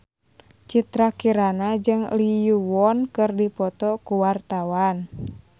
Citra Kirana jeung Lee Yo Won keur dipoto ku wartawan